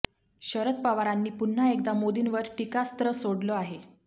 शरद पवारांनी पुन्हा एकदा मोदींवर टीकास्त्र सोडलं आहे